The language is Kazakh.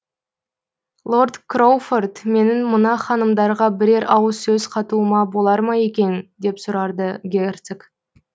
лорд кроуфорд менің мына ханымдарға бірер ауыз сөз қатуыма болар ма екен деп сұрарды герцог